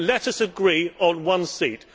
But let us agree on one seat.